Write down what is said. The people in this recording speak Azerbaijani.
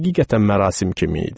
Həqiqətən mərasim kimi idi.